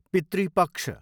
पितृ पक्ष